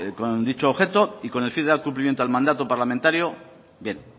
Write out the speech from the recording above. con dicho objeto y con el fin de dar cumplimiento al mandato parlamentario bien